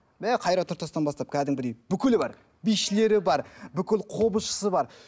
мә қайрат нұртастан бастап кәдімгідей бүкілі бар бишілері бар бүкіл қобызшысы бар